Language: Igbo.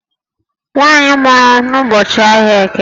Nwaanyị a mụrụ n'ụbọchị ahịa Eke